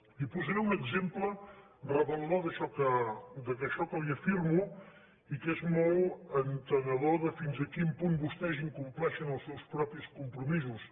li posaré un exemple revelador d’això que li afirmo i que és molt entenedor de fins a quin punt vostès incompleixen els seus propis compromisos